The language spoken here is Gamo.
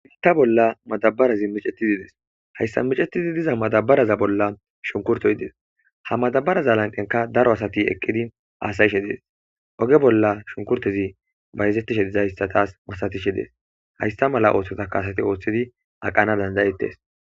Bitta bolla madabarazi micetidi des hayssa micetidi diza madabaraza bolla shunkurtoyides ha madabaraza lanqenka daro asati eqqidi aasayishe dees oge bolla shunkurti bayzettishe dizahissatas masatishe dees haysta mala oothsota kaasati ooththidi aqana dandayettes.